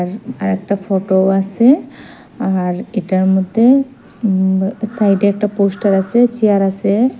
আর একটা ফটোও আসে আর এটার মদ্যে উম সাইডে একটা পোস্টার আসে চেয়ার আসে।